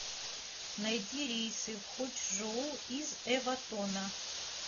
найди рейсы в хочжоу из эватона